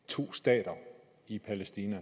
to stater i palæstina